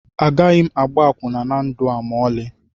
Agaghị m agba akwụna na ndụ a ma ọlị